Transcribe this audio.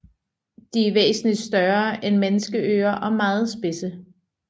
De er væsentligt større end menneskeører og meget spidse